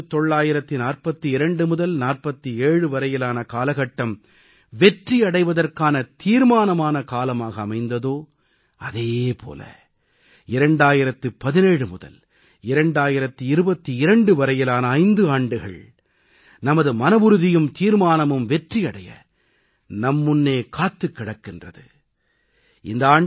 எப்படி 1942 முதல் 1947 வரையிலான காலகட்டம் வெற்றியடைவதற்கான தீர்மானமான காலமாக அமைந்ததோ அதே போல 2017 முதல் 2022 வரையிலான 5 ஆண்டுகள் நமது மனவுறுதியும் தீர்மானமும் வெற்றி அடைய நம் முன்னே காத்திருக்கின்றன